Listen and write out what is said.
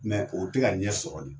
Mɛ o tɛ ka ɲɛ sɔrɔ de.